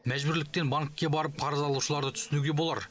мәжбүрліктен банкке барып қарыз алушыларды түсінуге болар